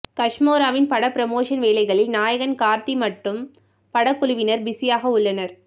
கஷ்மோராவின் பட ப்ரோமோஷன் வேளைகளில் நாயகன் கார்த்தி மட்டும் பட குழுவினர் பிஸியாக உள்ளனர்